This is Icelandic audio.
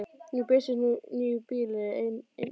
Nú birtust níu bílar í einni lest.